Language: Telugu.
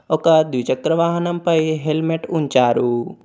ఒక ద్విచక్రవాహనంపై హెల్మెట్ ఉంచారు.